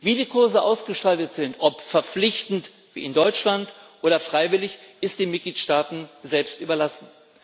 Wie die Kurse ausgestaltet sind ob verpflichtend wie in Deutschland oder freiwillig, ist den Mitgliedstaaten selbst überlassen.